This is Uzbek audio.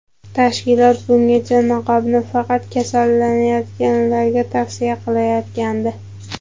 Tashkilot bungacha niqobni faqat kasallanganlarga tavsiya qilayotgandi.